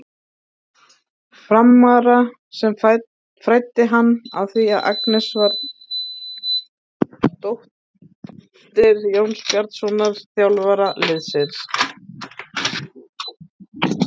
Frammara sem fræddi hann á því að Agnes væri dóttir Jóns Bjarnasonar, þjálfara liðsins.